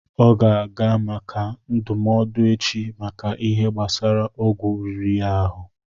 Ọ ga-aga maka ndụmọdụ echi, maka Ihe gbásara ọgwụ riri ya ahụ